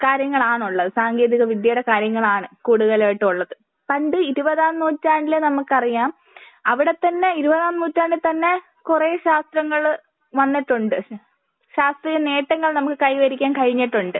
കാര്യങ്ങളാണുള്ളത്. സാങ്കേന്തിക വിദ്യയുടെ കാര്യങ്ങളാണ് കൂടുതൽ ആയിട്ടും ഉള്ളത്. പണ്ട് ഇരുപതാം നൂറ്റാണ്ടിൽ നമുക്കറിയാം. അവിടെ തന്നെ ഇരുപതാം നൂറ്റാണ്ടിൽ തന്നെ കുറേ ശാസ്ത്രങ്ങൾ വന്നിട്ടുണ്ട്. ശാസ്ത്രീയ നേട്ടങ്ങൾ നമുക്ക് കൈവരിക്കാൻ കഴിഞ്ഞിട്ടുണ്ട്.